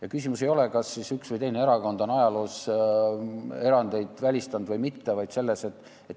Ja küsimus ei ole selles, kas üks või teine erakond on ajaloo jooksul erandeid välistanud või mitte.